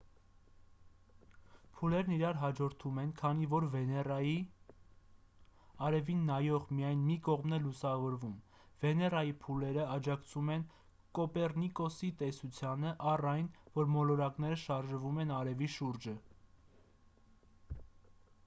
փուլերն իրար հաջորդում են քանի որ վեներայի կամ լուսնի արևին նայող միայն մի կողմն է լուսավորվում: վեներայի փուլերը աջակցում են կոպեռնիկոսի տեսությանը առ այն որ մոլորակները շարժվում են արևի շուրջ: